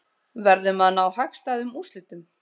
Verðum að ná hagstæðum úrslitum